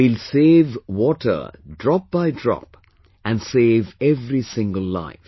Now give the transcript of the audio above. We will save water drop by drop and save every single life